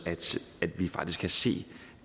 at vi faktisk kan se